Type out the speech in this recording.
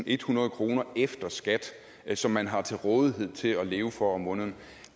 ethundrede kroner efter skat som man har til rådighed til at leve for om måneden